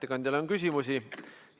Ettekandjale on küsimusi.